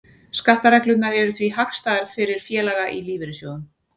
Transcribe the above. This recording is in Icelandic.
Skattareglurnar eru því hagstæðar fyrir félaga í lífeyrissjóðum.